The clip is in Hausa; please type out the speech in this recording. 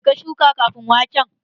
Me ka shuka ƙafin waken?